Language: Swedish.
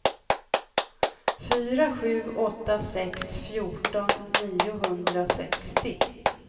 fyra sju åtta sex fjorton niohundrasextio